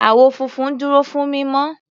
Àwọ̀ funfun dúró fún mímọ́.